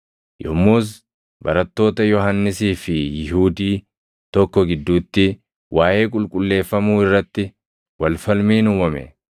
Yommus barattoota Yohannisii fi Yihuudii tokko gidduutti waaʼee qulqulleeffamuu irratti wal falmiin uumame.